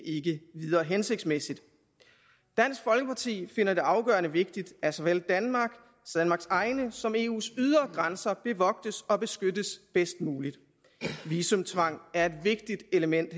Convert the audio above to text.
videre hensigtsmæssigt dansk folkeparti finder det afgørende vigtigt at såvel danmarks egne som eus ydre grænser bevogtes og beskyttes bedst muligt visumtvang er et vigtigt element